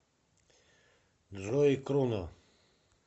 джой кроно